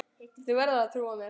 Þú verður að trúa mér.